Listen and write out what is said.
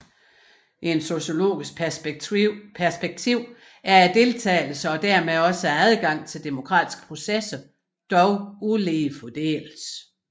I et sociologisk perspektiv er deltagelsen og dermed også adgangen til demokratiske processer dog ulige fordelt